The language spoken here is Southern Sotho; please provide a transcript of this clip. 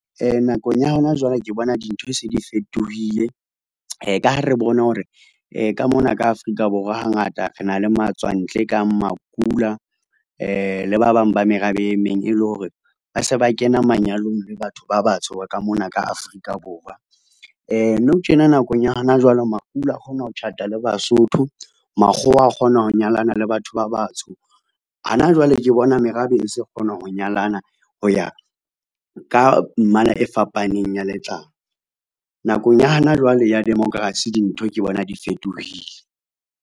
Nakong ya hona jwale ke bona dintho se di fetohile. Ka ha re bona hore , ka mona ka Afrika Borwa hangata re na le matswantle kang makula le ba bang ba merabe e meng e le hore ba se ba kena manyalong le batho ba batsho ka mona ka Afrika Borwa. Nou tjena nakong ya hana jwale, makula a kgona ho tjhata le Basotho. Makgowa a kgona ho nyalana le batho ba batsho. Hana jwale ke bona merabe e se kgona ho nyalana ho ya ka mmala e fapaneng ya letlang. Nakong ya hana jwale ya democracy, dintho ke bona di fetohile.